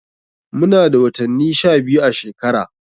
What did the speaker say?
Muna da watanni sha biyu a shekara.